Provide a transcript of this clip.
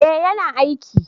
eh ya na aiki